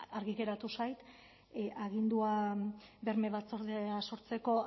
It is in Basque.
argi geratu zait agindua berme batzordea sortzeko